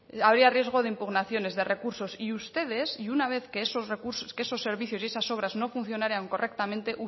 habría riesgo de impugnaciones de recursos y ustedes y una vez que esos recursos que esos servicios y esas obras no funcionaran correctamente